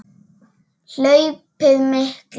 Hlaupið mikla